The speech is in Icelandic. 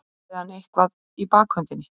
Hafði hann eitthvað í bakhöndinni?